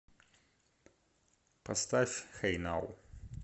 поставь хэй нау